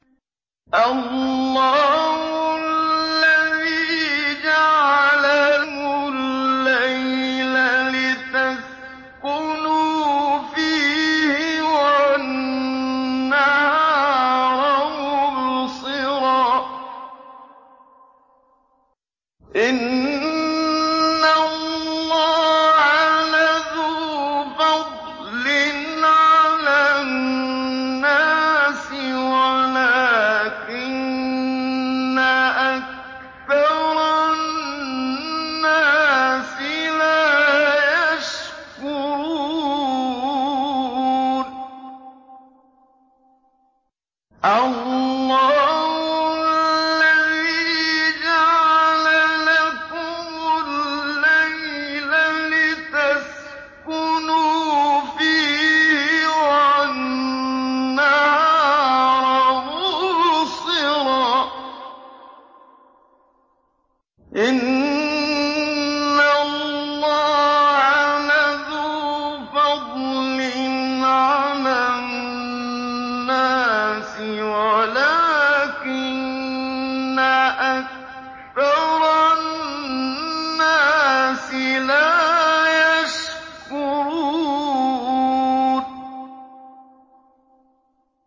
اللَّهُ الَّذِي جَعَلَ لَكُمُ اللَّيْلَ لِتَسْكُنُوا فِيهِ وَالنَّهَارَ مُبْصِرًا ۚ إِنَّ اللَّهَ لَذُو فَضْلٍ عَلَى النَّاسِ وَلَٰكِنَّ أَكْثَرَ النَّاسِ لَا يَشْكُرُونَ